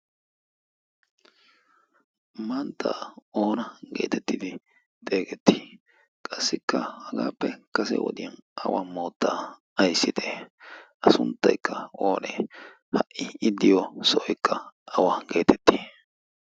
manttaa oona geetettidi xeegettii qassikka hagaappe kase wodiyan awa moottaa aissite a sunttaikka oonee ha''i iddiyo sooikka awa geetetti?